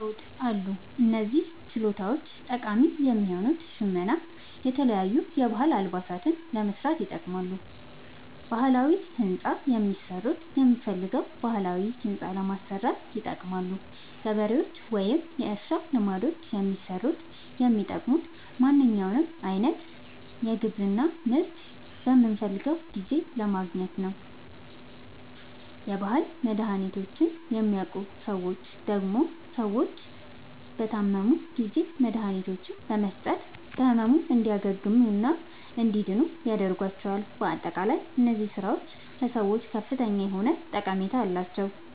አዎድ አሉ። እነዚህ ችሎታዎች ጠቃሚ የሆኑት ሸመና የተለያዩ የባህል አልባሳትን ለመስራት ይጠቅማሉ። ባህላዊ ህንፃ የሚሠሩት የምንፈልገዉን ባህላዊ ህንፃ ለማሠራት ይጠቅማሉ። ገበሬዎች ወይም የእርሻ ልማዶችን የሚሠሩት የሚጠቅሙት ማንኛዉንም አይነት የግብርና ምርት በምንፈልገዉ ጊዜ ለማግኘት ነዉ። የባህል መድሀኒቶችን የሚያዉቁ ሠዎች ደግሞ ሰዎች በታመሙ ጊዜ መድሀኒቶችን በመስጠት ከህመሙ እንዲያግሙና እንዲድኑ ያደርጓቸዋል። በአጠቃላይ እነዚህ ስራዎች ለሰዎች ከፍተኛ የሆነ ጠቀሜታ አላቸዉ።